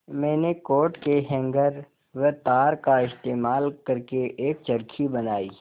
मैंने कोट के हैंगर व तार का इस्तेमाल करके एक चरखी बनाई